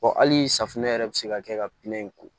hali safunɛ yɛrɛ bɛ se ka kɛ ka pinɛ in ko